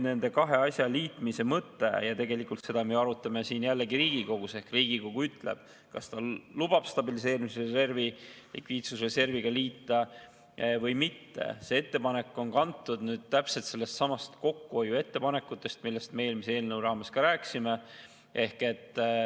Nende kahe asja liitmise mõte – ja seda me arutame siin Riigikogus ehk Riigikogu ütleb, kas ta lubab stabiliseerimisreservi likviidsusreserviga liita või mitte –, see ettepanek on kantud kokkuhoiu ettepanekutest, millest me eelmise eelnõu raames rääkisime.